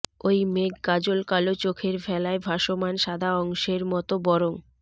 ওই মেঘ কাজল কালো চোখের ভেলায় ভাসমান সাদা অংশের মতো বরং